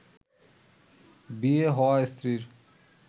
বিয়ে হওয়া স্ত্রীর